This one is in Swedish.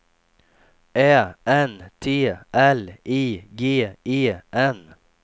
Ä N T L I G E N